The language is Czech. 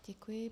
Děkuji.